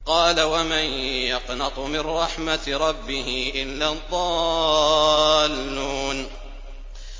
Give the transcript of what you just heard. قَالَ وَمَن يَقْنَطُ مِن رَّحْمَةِ رَبِّهِ إِلَّا الضَّالُّونَ